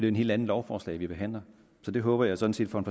et helt andet lovforslag vi behandler det håber jeg sådan set på en